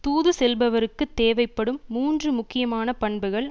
தூது செல்பவருக்குத் தேவைப்படும் மூன்று முக்கியமான பண்புகள்